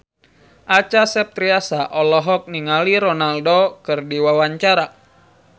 Acha Septriasa olohok ningali Ronaldo keur diwawancara